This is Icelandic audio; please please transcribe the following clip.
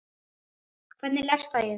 Hvernig leggst það í þig?